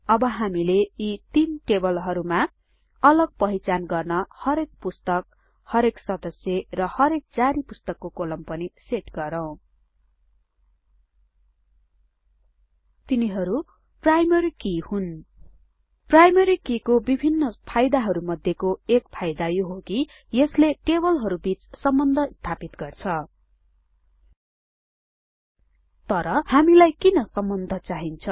अब हामीले यी तीन टेबलहरूमा अलग पहिचान गर्ने हरेक पुस्तक हरेक सदस्य र हरेक जारी पुस्तकको कोलम पनि सेट गरौ तिनीहरु प्राइमारी कीहरू हुन प्राइमरी किको विभिन्न फाईदाहरु मध्येको एक फाइदा यो हो कि यसले टेबलहरूबिच सम्बन्ध स्थापित गर्छ तर हामीलाई किन सम्बन्ध चाहिन्छ